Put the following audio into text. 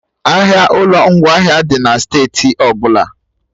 Ahịa ụlọ ngwaahịa dị na steeti ọbụla